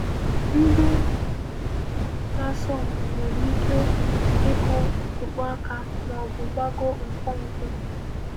Ndị na-asọ mpi nwere ike ịkụ, ịkpọ aka, ma ọ bụ gbagoo nkwonkwo.